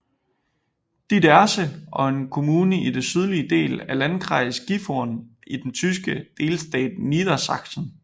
Didderse er en kommune i den sydlige del af Landkreis Gifhorn i den tyske delstat Niedersachsen